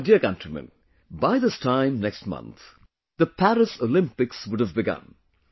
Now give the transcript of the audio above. My dear countrymen, by this time next month, the Paris Olympics would have begun